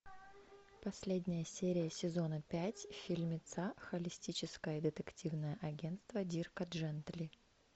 последняя серия сезона пять фильмеца холистическое детективное агентство дирка джентли